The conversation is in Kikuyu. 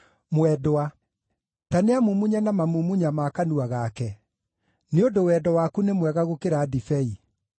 Ta nĩamumunye na mamumunya ma kanua gake: nĩ ũndũ wendo waku nĩ mwega gũkĩra ndibei.